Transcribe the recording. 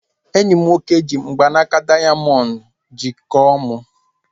Enyi m nwoke ji mgbanaka dayamondu jikọọ mu